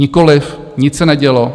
Nikoliv, nic se nedělo.